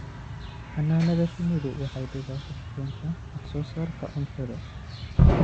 Xannaanada shinnidu waxay dhibaato ku keentaa wax soo saarka cuntada.